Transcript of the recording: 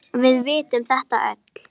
Við vitum þetta öll.